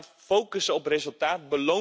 Ga focussen op resultaat.